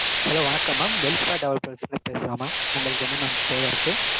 hello வணக்கம் mam belstar developers ல இருந்து பேசறோம் mam. உங்களுக்கு என்ன mam தேவை இருக்கு?